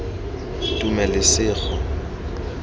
tumelesego